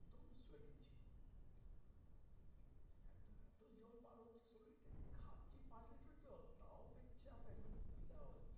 সেই পাঁচ লিটার জল তাও পেচ্ছাপ একদম পিলা হচ্ছে।